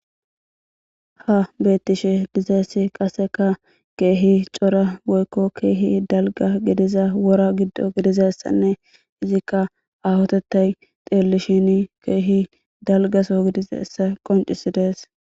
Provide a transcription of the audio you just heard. Ha beettishe dizassi qaseka keehi cora woykko keehi dalgga gidiza wora giddo gidizassanne izikka aahotethay xeellishin keehi dalgaso gidizessa qoncisidees.